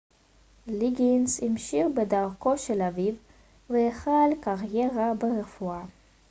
ליגינס המשיך בדרכו של אביו והחל קריירה ברפואה